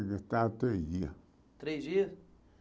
três dias Três dias.